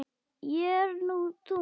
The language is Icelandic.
Ég er nú þung.